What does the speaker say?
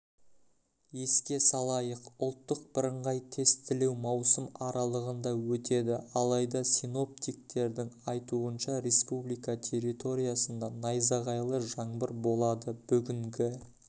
еске салайық ұлттық бірыңғай тестілеу маусым аралығында өтеді алайда синоптиктердің айтуынша республика территориясындаайзағайлы жаңбыр болады бүгінгі